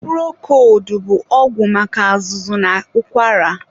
Purokoldu bụ ọgwụ maka azụzụ na ụkwara.